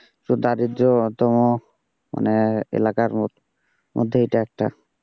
তো দারিদ্রতম মানে এলাকার মধ্যে এটা একটা,